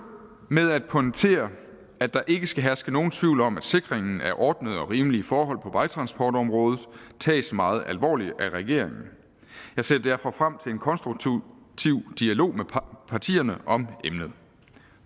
med at pointere at der ikke skal herske nogen tvivl om at sikringen af ordnede og rimelige forhold på vejtransportområdet tages meget alvorligt af regeringen jeg ser derfor frem til en konstruktiv dialog med partierne om emnet